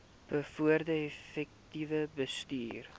bevorder effektiewe bestuur